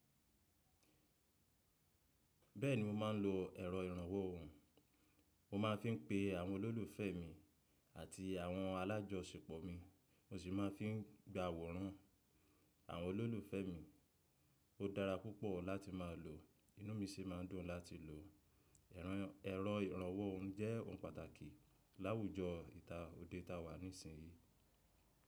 Bẹ́ẹ̀ni mo máà ń lo ẹ̀rọ ìrànwọ́ ohùn. Bẹ́ẹ̀ni mo máà ń lo ẹ̀rọ ìrànwọ́ ohùn. Mo sì máa fi ń gba àwòrán àwọn olólùfẹ́ mi. Ó dára púpọ̀ láti má a lo, inú mi sì máa ń dùn láti lò ó. Ẹ̀rọ ìrànwọ́ ohùn jẹ́ ohun pàtàkì láwùjọ ìta òde ta wà nísìnyí.